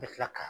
I bɛ tila ka